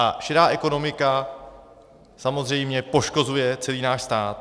A šedá ekonomika samozřejmě poškozuje celý náš stát.